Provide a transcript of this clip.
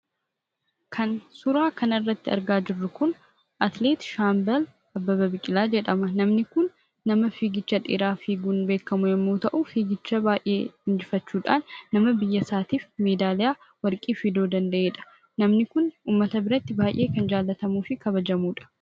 Kan suuraa kanarratti argaa jirru kun Atileet Shaambal Abbabaa Biqilaa jedhama. Namni kun nama fiigicha dheeraa fiiguudhaan beekamu yommuu ta'u, fiigicha baay'ee injifachuudhaan nama biyya isaatiif meedaaliyaa warqii fiduu danda'eedha. Namni kun uummata biratti kan baay'ee jaallatamuu fi kabajamuudha